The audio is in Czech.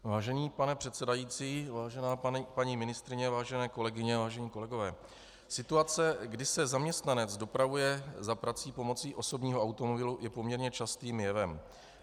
Vážený pane předsedající, vážená paní ministryně, vážené kolegyně, vážení kolegové, situace, kdy se zaměstnanec dopravuje za prací pomocí osobního automobilu, je poměrně častým jevem.